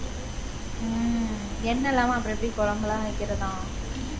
உம் எண்ணெய் இல்லாம, அப்புறம் எப்படி குழம்புலாம் வைக்கிறதாம்?